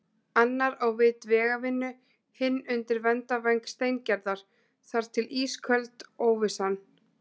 Annar á vit vegavinnu, hinn undir verndarvæng Steingerðar- þar til ísköld óvissan.